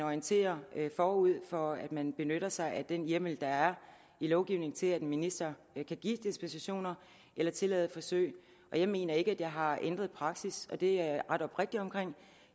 orienterer forud for at man benytter sig af den hjemmel der er i lovgivningen til at en minister kan give dispensationer eller tillade forsøg og jeg mener ikke at jeg har ændret praksis og det er jeg ret oprigtig omkring